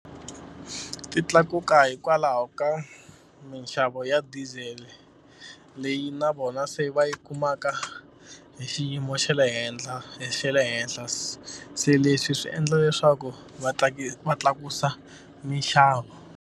Ti tlakuka hikwalaho ka minxavo ya diesel leyi na vona se va yi kumaka hi xiyimo xa le henhla hi xe le henhla se leswi swi endla leswaku va va tlakusa minxavo.